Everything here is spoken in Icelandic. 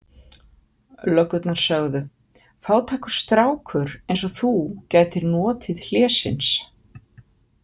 Löggurnar sögðu: Fátækur strákur eins og þú gætir notið hlésins.